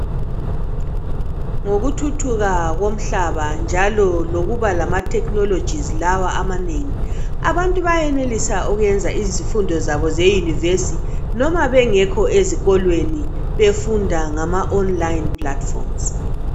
Ngokuthuthuka kumhlaba njalo lokuba lamathekhinoloji lawa amanengi abantu benelisa ukuyenza izifundo zabo zeyinivesi noma bengekho ezikolweni, befunda ngama oniliyini phulathifomuzi.